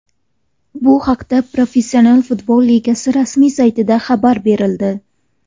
Bu haqda Professional futbol ligasi rasmiy saytida xabar berildi .